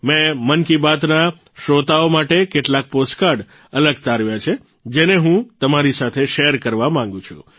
મેં મન કી બાતના શ્રોતાઓ માટે કેટલાક પોસ્ટકાર્ડ અલગ તારવ્યા છે જેને હું તમારી સાથે શેર કરવા માંગું છું